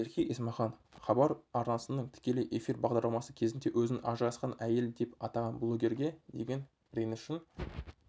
ерке есмахан хабар арнасының тікелей эфир бағдарламасы кезінде өзін ажырасқан әйел деп атаған блогерге деген ренішін